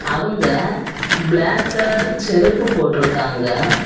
அவங்க black colour செருப்பு போட்டு இருக்காங்க.